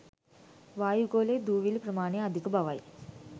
වායුගෝලයේ දුවිලි ප්‍රමාණය අධික බවයි